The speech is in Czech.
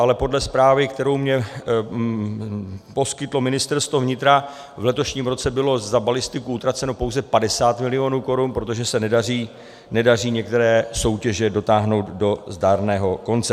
Ale podle zprávy, kterou mi poskytlo Ministerstvo vnitra, v letošním roce bylo za balistiku utraceno pouze 50 mil. korun, protože se nedaří některé soutěže dotáhnout do zdárného konce.